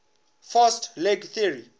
fast leg theory